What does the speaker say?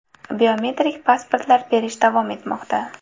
Biometrik pasportlar berish davom etmoqda.